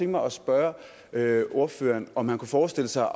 mig at spørge ordføreren om han kunne forestille sig